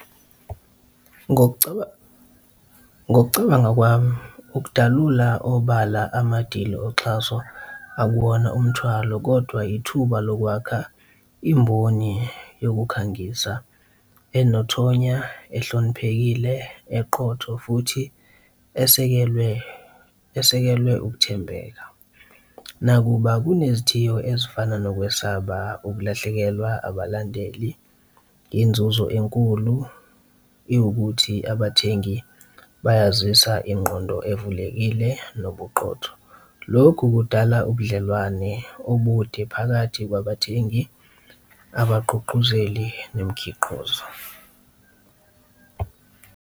Ngokucabanga kwami, ukudalula obala amadili oxhaso akuwona umthwalo kodwa ithuba lokwakha imboni yokukhangisa enethonya, ehloniphekile, eqotho, futhi esekelwe, esekelwe ukuthembeka. Nakuba kunezithiyo ezifana nokwesaba ukulahlekelwa abalandeli. Inzuzo enkulu iwukuthi abathengi bayazisa ingqondo evulekile nobuqotho. Lokhu kudala ubudlelwane obude phakathi kwabathengi, abagqugquzeli, nemikhiqizo.